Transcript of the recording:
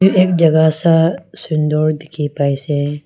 jaga sa sundor dikhi pai se.